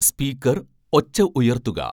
speaker ഒച്ച ഉയർത്തുക